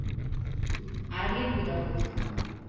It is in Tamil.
அரலிப்பூ தான் பிச்சுட்டு வருவேன்